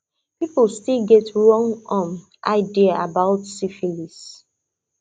people still get wrong um idea about syphilis